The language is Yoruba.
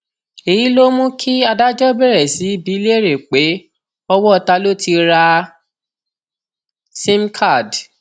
èyí ló mú kí adájọ bẹrẹ sí í bíi léèrè pé owó ta ló ti ra simcard